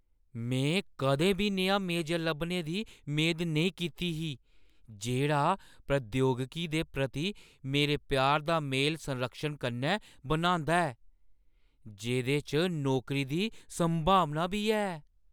मैं कदें बी नेहा मेजर लब्भने दी मेद नेईं कीती ही जेह्ड़ा प्रौद्योगिकी दे प्रति मेरे प्यार दा मेल संरक्षण कन्नै बनांदा ऐ, जेह्दे च नौकरी दी संभावना बी है।